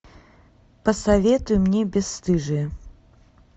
посоветуй мне бесстыжие